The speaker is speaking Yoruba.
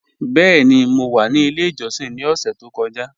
Bẹẹ̀ni, mọ wa ní ilẹ̀ ìjọ́ṣìn ni ọ̀ṣẹ̀ tó kọ́ja.